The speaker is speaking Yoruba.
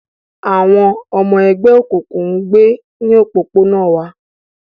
Àwọn ọmọ ẹgbẹ́ òkùnkùn ń gbé ní òpópónà wa